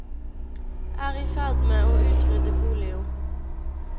Er i ferd med å utrydde polio.